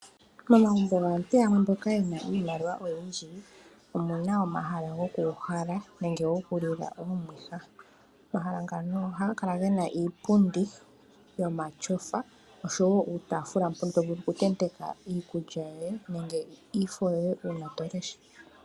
Momagumbo gaantu yamwe mboka ye na iimaliwa oyindji omu na omahala gokuuhala nenge gokulila omwiha. Omahala ngano ohaga kala ge na iipundi yomatyofa oshowo uutafula mbono to vulu okuntenteka iikulya yoye nenge iifo yoye uuna to lesha.